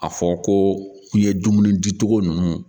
A fɔ ko i ye dumuni di cogo ninnu